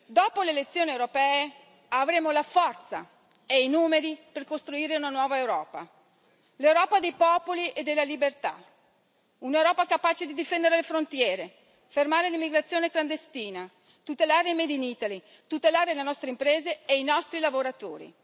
Dopo le elezioni europee avremo la forza e i numeri per costruire una nuova Europa, l'Europa dei popoli e della libertà, un'Europa capace di difendere le frontiere, fermare l'immigrazione clandestina, tutelare il made in Italy, tutelare le nostre imprese e i nostri lavoratori.